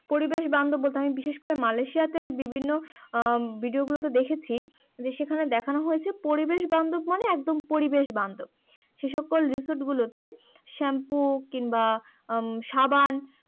পরিবেশ বান্ধব বলতে বিশেষ করে মালয়েশিয়া তে ভিডিও গুলোতে দেখেছি যে সেখানে দেখান হয়েছে পরিবেশ বান্ধব মানে একদম পরিবেশ বান্ধব সে সকল রিসোর্ট গুলোতে শ্যাম্পু কিংবা সাবান